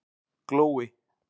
Glói